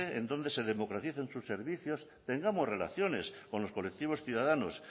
en donde se democraticen sus servicios tengamos relaciones con los colectivos ciudadanos